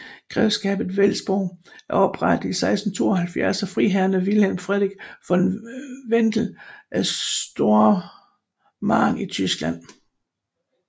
Grevskabet Wedellsborg er oprettet i 1672 af rigsfriherre Wilhelm Friedrich von Wedell fra Stormarn i Tyskland